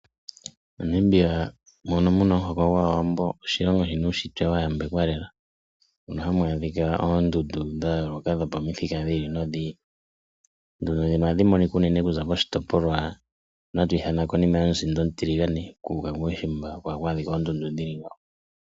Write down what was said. Monamibia mono muna omuhoko gwaawambo oshilongo shina uushitwe wa yambekwa lela mono hamu ahika oondundu dha yooloka dhopamithika dhi ili nodhi ili . Ondundu ndhino ohadhi monikwa unene kuza poshitopolwa shono hatu ithana okonima yomusinda omutiligane kuuka kuushimba oko haku adhikwa oondundu dha tya ngaaka.